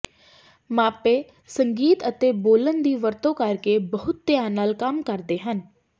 ਮਾਪੇ ਸੰਗੀਤ ਅਤੇ ਬੋਲਣ ਦੀ ਵਰਤੋਂ ਕਰਕੇ ਬਹੁਤ ਧਿਆਨ ਨਾਲ ਕੰਮ ਕਰਦੇ ਹਨ